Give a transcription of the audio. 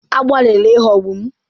Agbalịla ịghọgbu m!